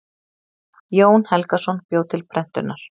Jón Helgason bjó til prentunar.